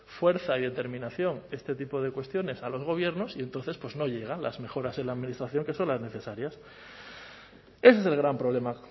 fuerza y determinación este tipo de cuestiones a los gobiernos y entonces pues no llegan las mejoras en la administración que son las necesarias ese es el gran problema